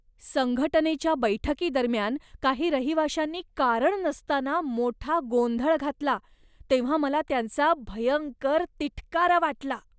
संघटनेच्या बैठकीदरम्यान काही रहिवाशांनी कारण नसताना मोठा गोंधळ घातला तेव्हा मला त्यांचा भयंकर तिटकारा वाटला.